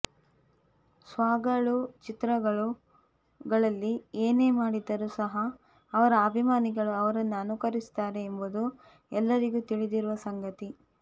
ಸ್ಟಾರ್ಗಳು ಚಿತ್ರಗಳಲ್ಲಿ ಏನೇ ಮಾಡಿದರೂ ಸಹ ಅವರ ಅಭಿಮಾನಿಗಳು ಅವರನ್ನು ಅನುಕರಿಸುತ್ತಾರೆ ಎಂಬುದು ಎಲ್ಲರಿಗೂ ತಿಳಿದಿರುವ ಸಂಗತಿ